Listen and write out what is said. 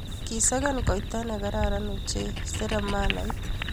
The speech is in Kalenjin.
Kisakan kaita ne kararan ochei seremalait.